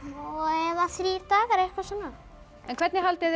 eða þrír dagar eitthvað svona hvernig haldið þið